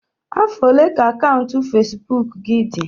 Afọ ole ka akaụntụ Facebook gị dị?